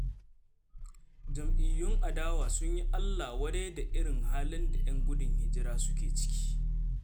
Jam'iyyun adawa sun yi allah-wadai da irin halin da 'yan gudun hijira suke ciki.